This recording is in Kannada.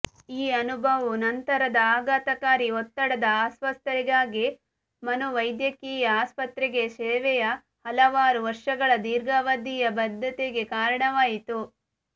ಈ ಅನುಭವವು ನಂತರದ ಆಘಾತಕಾರಿ ಒತ್ತಡದ ಅಸ್ವಸ್ಥತೆಗಾಗಿ ಮನೋವೈದ್ಯಕೀಯ ಆಸ್ಪತ್ರೆಗೆ ಶೆವೆಯ ಹಲವಾರು ವರ್ಷಗಳ ದೀರ್ಘಾವಧಿಯ ಬದ್ಧತೆಗೆ ಕಾರಣವಾಯಿತು